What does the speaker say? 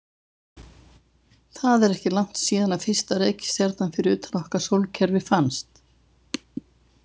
Það er ekki langt síðan fyrsta reikistjarnan fyrir utan okkar sólkerfi fannst.